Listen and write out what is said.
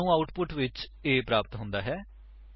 ਸਾਨੂੰ ਆਉਟਪੁਟ ਵਿੱਚ A grade ਪ੍ਰਾਪਤ ਹੁੰਦਾ ਹੈ